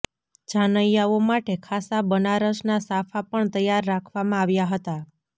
જાનૈયાઓ માટે ખાસા બનારસના સાફા પણ તૈયાર રાખવામાં આવ્યા હતાં